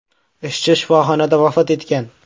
Ishchi shifoxonada vafot etgan.